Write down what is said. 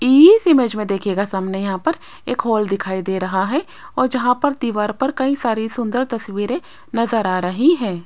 इस इमेज में देखिएगा सामने यहां पर एक हाल दिखाई दे रहा है और जहां पर दीवार पर कई सारी सुंदर तस्वीरें नजर आ रही हैं।